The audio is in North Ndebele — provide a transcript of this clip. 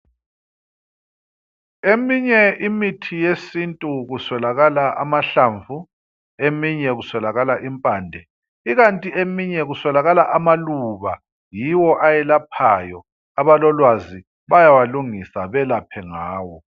Eminye imithi yesintu kuswelakala amahlamvu, eminye kuswelakala impande , ikanti eminye kuswelakala amaluba, yiwo ayelaphayo, abalolwazi bayawalungisa belaphe ngawo.